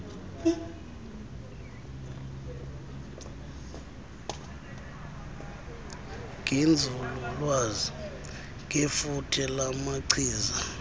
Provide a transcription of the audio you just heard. ngenzululwazi ngefuthe lamachiza